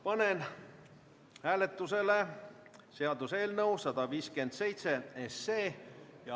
Panen hääletusele seaduseelnõu 157.